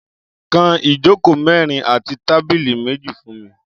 Kán ijókó mèrin àtí tàbìlí méji fùn mi